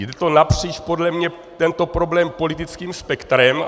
Jde to napříč podle mě, tento problém, politickým spektrem.